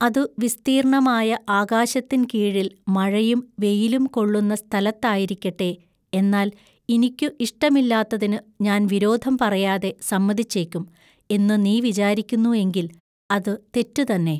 അതു വിസ്തീൎണ്ണമായ ആകാശത്തിൻ കീഴിൽ മഴയും വെയിലും കൊള്ളുന്ന സ്ഥലത്തായിരിക്കട്ടെ എന്നാൽ ഇനിക്കു ഇഷ്ടമില്ലാത്തതിനു ഞാൻ വിരോധം പറയാതെ സമ്മതിച്ചേക്കും എന്നു നീ വിചാരിക്കുന്നു എങ്കിൽ അതു തെറ്റു തന്നെ.